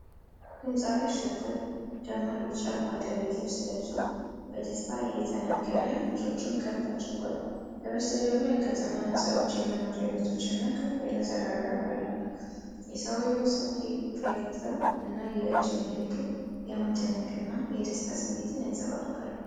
ድምጻዊ አሸብር ደማቅ ቢጫ ባህላዊ ልብስ ለብሶ፣ በደስታ እየተናገረ እጆቹን ከፍ አድርጓል። ከጀርባው የከተማ ህንጻዎች፣ የመኖሪያ ቤቶች እና ከፍ ያለ ተራራ አሉ። የሰውየው ሰፊ ፈገግታ እና የእጅ ምልክቶች የመደነቅና የደስታ ስሜትን ያንፀባርቃሉ።